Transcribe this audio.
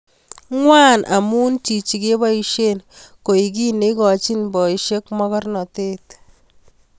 Ngwan amu chichi keboisie koek kiy neikochoni boisiek mogornatet